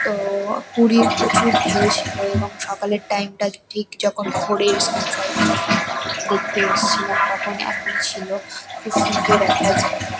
তো পুরীর প্রচুর ঢেউ ছিলএবং সকালের টাইম -টা ঠিক যখন ভোরের সানসাইন যখন দেখতে এসছিলাম তখন এমনই ছিল। খুব সুন্দর একটা জায়গা।